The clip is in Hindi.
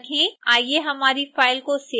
आइए हमारी फ़ाइल को सेव करते हैं